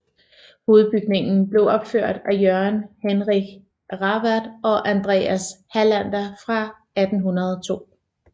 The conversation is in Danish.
Hovedbygningen blev opført af Jørgen Henrich Rawert og Andreas Hallander in 1802